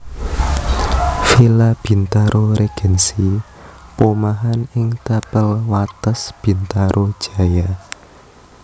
Villa Bintaro Regency Pomahan ing tapel wates Bintaro Jaya